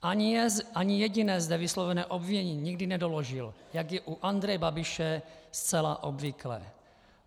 Ani jediné zde vyslovené obvinění nikdy nedoložil, jak je u Andreje Babiše zcela obvyklé.